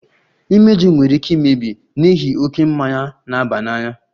Imeju nwere ike imebi n'ihi oke mmanya na-aba n'anya